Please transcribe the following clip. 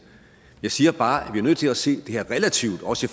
jeg siger bare at vi er nødt til at se det her relativt også